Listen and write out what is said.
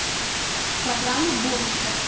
программа бонусов